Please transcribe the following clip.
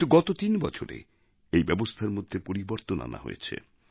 কিন্তু গত তিন বছরে এই ব্যবস্থার মধ্যে পরিবর্তন আনা হয়েছে